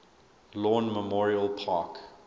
lawn memorial park